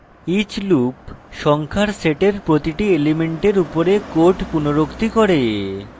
each loop সংখ্যার set প্রতিটি element উপরে code পুনরুক্তি করে